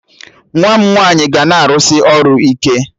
Nwa m nwaanyị ga na-arụsị ọrụ ike